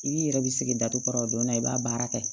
I b'i yɛrɛ bi sigi datugu kɔrɔ o donna i b'a baara kɛ